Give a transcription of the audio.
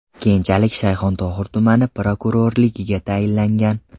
Keyinchalik Shayxontohur tumani prokurorligiga tayinlangan.